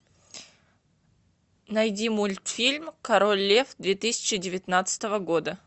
найди мультфильм король лев две тысячи девятнадцатого года